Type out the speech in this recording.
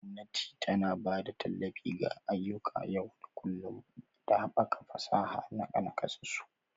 Gwamnati tana ba da tallafi ga ayyukan yau da kullun da haɓaka fasaha ga nakasassu.